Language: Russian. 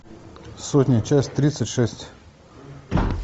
сотня часть тридцать шесть